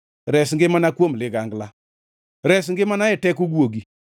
Res ngimana kuom ligangla, res ngimana e teko guogi.